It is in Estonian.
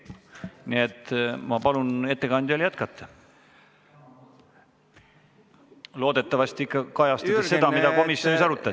Nii et ma palun ettekandjal jätkata – loodetavasti kajastades ikka seda, mida komisjonis arutati.